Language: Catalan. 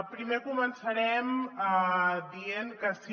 primer començarem dient que sí